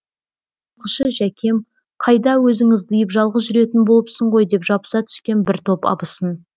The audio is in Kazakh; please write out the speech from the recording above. жылқышы жәкем қайда өзің ыздиып жалғыз жүретін болыпсың ғой деп жабыса түскен бір топ абысын